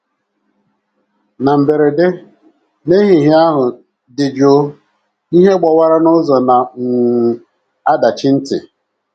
Na mberede, n’ehihie ahụ dị jụụ, ihe gbawara n’ụzọ na um - adachi ntị!